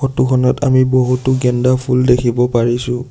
ফটোখনত আমি বহুতো ফুল দেখিব পাৰিছোঁ।